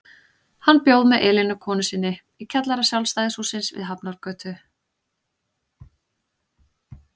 Hann bjó með Elínu konu sinni í kjallara Sjálfstæðishússins við Hafnargötu.